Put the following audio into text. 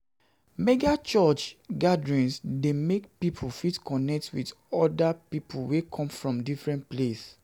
Mega church gatherings de make pipo fit connect with other pipo wey come from a different place